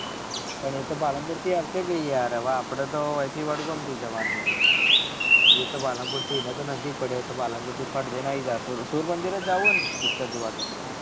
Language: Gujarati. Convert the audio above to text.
પણ એ તો પાલનપુર થી આવશે યાર હવે આપળે તો અયી થી વડગામ થી જવાનું હોય એ તો પાલનપુર થી એને તો નજીક પડે એ તો પાલનપુર થી ફટ આયી જાય સુર સૂર્જયમંદિર જાઉં હે ને picture જોવા તો.